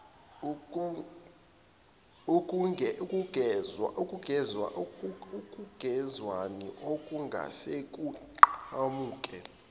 ukungezwani okungase kuqhamuke